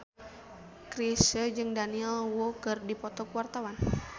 Chrisye jeung Daniel Wu keur dipoto ku wartawan